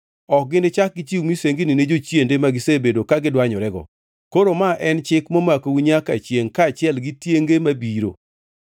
Ok gichak gichiw misengini ne jochiende ma gisebedo ka gidwanyorego. Koro ma en chik momakou nyaka chiengʼ kaachiel gi tienge mabiro.’